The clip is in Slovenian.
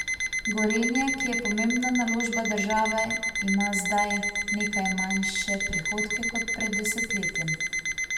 Gorenje, ki je pomembna naložba države, ima zdaj nekaj manjše prihodke kot pred desetletjem.